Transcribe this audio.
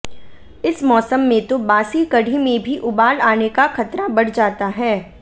इस मौसम में तो बासी कढ़ी में भी उबाल आने का खतरा बढ़ जाता है